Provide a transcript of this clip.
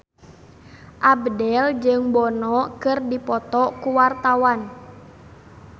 Abdel jeung Bono keur dipoto ku wartawan